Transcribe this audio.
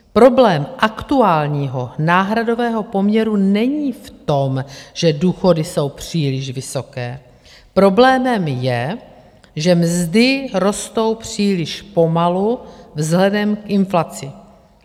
Problém aktuálního náhradového poměru není v tom, že důchody jsou příliš vysoké, problémem je, že mzdy rostou příliš pomalu vzhledem k inflaci.